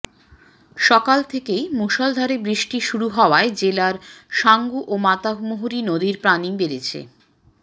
সকাল থেকে মুষলধারে বৃষ্টি শুরু হওয়ায় জেলার সাঙ্গু ও মাতামুহুরী নদীর পানি বেড়েছে